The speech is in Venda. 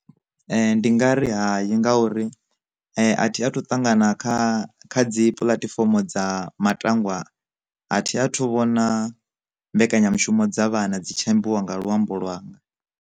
Ndi nga ri hayi ngauri, a thi a thu ṱangana kha kha dzi puḽatifomo dza matangwa a thi a thu vhona mbekanyamushumo dza vhana dzi tshi imbiwa nga luambo lwanga.